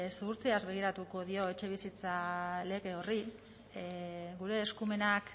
zuhurtziaz begiratuko dio etxebizitza lege horri gure eskumenak